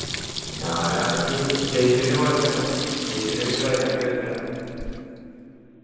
ഞാനാണെങ്കി ഷൈജുവിനെ പോലെ തന്നെ ഷൈജുനെ എനിക്ക് ഭയങ്കര ഇഷ്ടാ